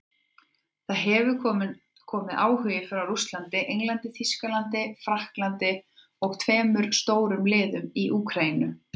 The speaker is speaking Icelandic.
Það hefur komið áhugi frá Rússlandi, Englandi, Þýskalandi Frakklandi og tveimur stórum liðum í Úkraínu.